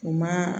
U ma